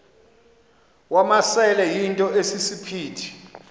wamasele yinto esisiphithi